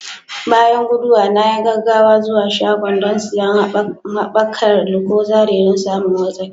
Bayan guduwa, na yi gaggawa zuwa shagon don siyan haɓakar lucozade don samin wartsakewa.